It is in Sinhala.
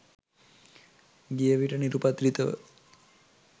ගිය විට නිරුපද්‍රිතව